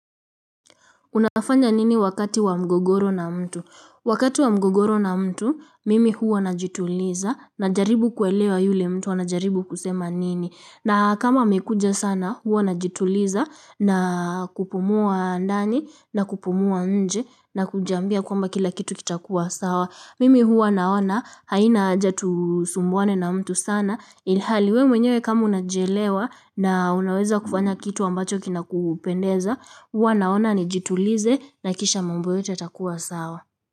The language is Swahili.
Unafanya nini wakati wa mgogoro na mtu? Wakati wa mgogoro na mtu, mimi huwa najituliza najaribu kuelewa yule mtu anajaribu kusema nini. Na kama amekuja sana, huwa najituliza na kupumua ndani na kupumua nje na kujiambia kwamba kila kitu kitakuwa sawa. Mimi huwa naona haina haja tusumbuane na mtu sana ilhali wewe mwenyewe kama unajielewa na unaweza kufanya kitu ambacho kinakupendeza huwa naona nijituliza na kisha mambo yote yatakuwa sawa.